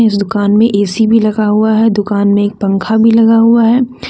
इस दुकान में ए_सी लगा हुआ है दुकान में एक पंखा भी लगा हुआ है।